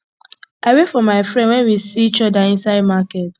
i wave for my friend wen we see each other inside market